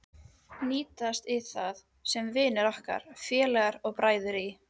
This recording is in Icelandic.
Hnýsast í það, sem vinir okkar, félagar og bræður í